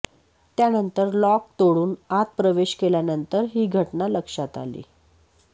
त्यानंतर लॉक तोडून आत प्रवेश केल्यानंतर ही घटना लक्षात आली